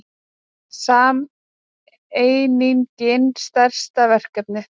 Sameiningin stærsta verkefnið